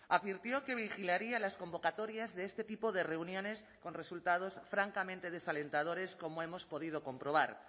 advirtió que vigilaría las convocatorias de este tipo de reuniones con resultados francamente desalentadores como hemos podido comprobar